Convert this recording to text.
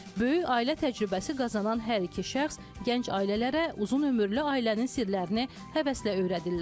Böyük ailə təcrübəsi qazanan hər iki şəxs gənc ailələrə uzunömürlü ailənin sirlərini həvəslə öyrədirlər.